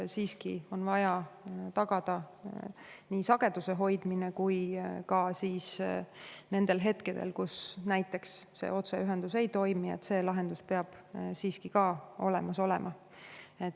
Siiski on vaja tagada sageduse hoidmine ning nendel hetkedel, kui näiteks otseühendus ei toimi, peab lahendus samuti olemas olema.